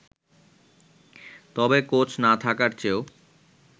তবে কোচ না থাকার চেয়েও